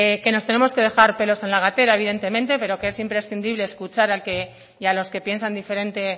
que nos tenemos que dejar pelos en la gatera evidentemente pero que es imprescindible escuchar al que y a los que piensan diferentes